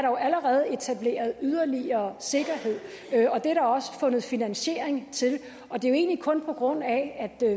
jo allerede etableret yderligere sikkerhed og det er der også fundet finansiering til og det er jo egentlig kun på grund af at